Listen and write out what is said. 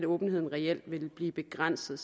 åbenheden reelt vil blive begrænset